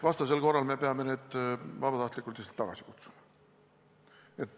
Vastasel korral me peaksime need vabatahtlikud tagasi kutsuma.